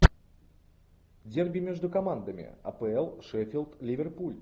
дерби между командами апл шеффилд ливерпуль